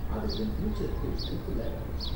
அது என் ஃப்யூச்சருக்கு ஹெல்ப்ஃபுல்லா இருக்கும்.